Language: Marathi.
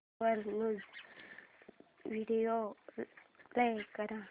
वर न्यूज व्हिडिओ प्ले कर